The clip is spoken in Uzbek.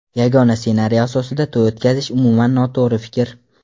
Yagona ssenariy asosida to‘y o‘tkazish umuman noto‘g‘ri fikr.